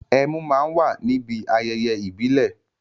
Ẹmu má á ń wà níbi ayẹyẹ ìbílè